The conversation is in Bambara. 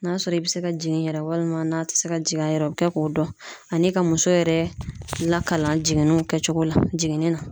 N'a sɔrɔ i bɛ se ka jigin yɛrɛ walima n'a tɛ se ka jigin a yɛrɛ bɛ kɛ k'o dɔn ani ka muso yɛrɛ lakalan jiginniw kɛcogo la jiginni na.